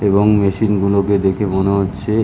এবং মেশিন গুলোকে দেখে মনে হচ্ছে ।